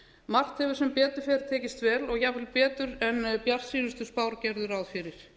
margt hefur sem betur er tekist vel og jafnvel betur en bjartsýnustu spár gerðu ráð fyrir